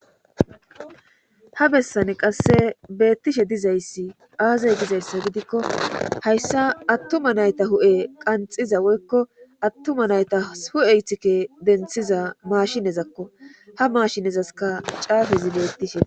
Ha bessai qasse beettishe dizayssi aazey dizayssa gidikko hayssa attuma nayta hu'e qanxiza woykko attuma nayta hu'e iththike denththiza maashinezakko ha maashinezaska caafezi beettishshe dees